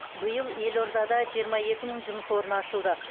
биыл елордада жиырма екі мың жұмыс орны ашылды